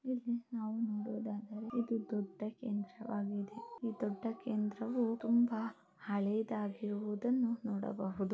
ಇದು ದೊಡ್ಡ ಕೇಂದ್ರ ವಾಗಿದೆ. ಈ ದೊಡ್ಡ ಕೇಂದ್ರವು ತುಂಬಾ ಹಳೆದಾಗಿರುವುದನ್ನು ನೋಡಬಹುದು.